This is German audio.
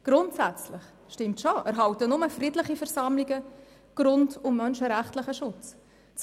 Grundsätzlich stimmt es schon, dass nur friedliche Versammlungen grund- und menschenrechtlichen Schutz erhalten.